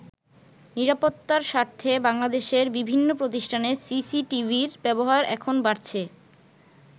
নিরাপত্তার স্বার্থে বাংলাদেশের বিভিন্ন প্রতিষ্ঠানে সিসিটিভির ব্যবহার এখন বাড়ছে।